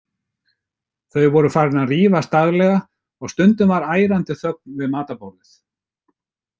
Þau voru farin að rífast daglega og stundum var ærandi þögn við matarborðið.